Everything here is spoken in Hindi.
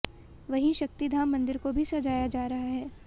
वहीं शक्ति धाम मंदिर को भी सजाया जा रहा है